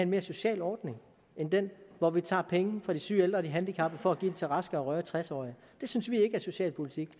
mere social ordning end den hvor vi tager penge fra de syge ældre og handicappede for at give dem til raske og rørige tres årige det synes vi ikke er socialpolitik